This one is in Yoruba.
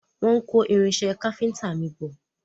Wọ́n ń kó irinṣẹ́ káfíntà mi bọ̀.